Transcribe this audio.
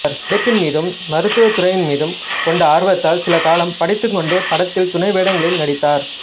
நடிப்பின் மீதும் மருத்துவ துறையின் மீதும் கொண்ட ஆர்வத்தால் சில காலம் படித்துக்கொண்டே படத்திலும் துணை வேடங்களில் நடித்தார்